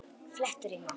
Flétturima